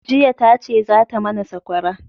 jiya ta ce za ta mana sakwara